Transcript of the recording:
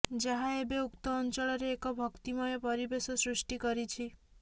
ଯାହା ଏବେ ଉକ୍ତ ଅଂଚଳରେ ଏକ ଭକ୍ତିମୟ ପରିବେଶ ସୃଷ୍ଟି କରିଛି